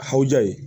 Haha ye